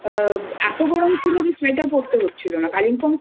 নামছিলাম তখন তো অ এতো গরম ছিল যে সোয়েটার